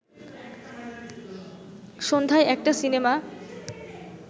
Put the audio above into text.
সন্ধ্যায় একটা সিনেমা